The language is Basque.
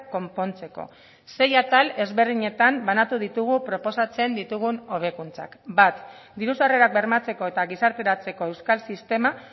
konpontzeko sei atal ezberdinetan banatu ditugu proposatzen ditugun hobekuntzak bat diru sarrerak bermatzeko eta gizarteratzeko euskal sistema